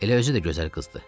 Elə özü də gözəl qızdır.